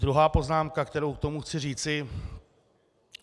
Druhá poznámka, kterou k tomu chci říct.